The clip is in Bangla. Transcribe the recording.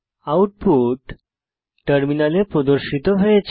আউটপুট টার্মিনালে প্রদর্শিত হয়েছে